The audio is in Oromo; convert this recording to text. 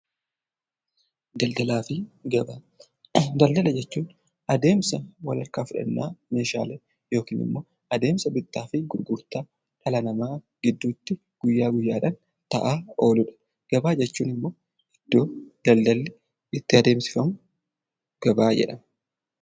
Daldalaafi gabaa ; daladala jechuun adeemsa wal harkaa fudhannaa meeshaalee yookinimmoo adeemsa bittaafii gurgurtaa dhala namaa gidduutti guyyaa guyyaadhaan ta'aa ooludha. Gabaa jechuunimmoo iddoo daldallii itti adeemsifamu gabaa jedhama.